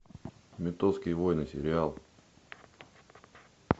ментовские войны сериал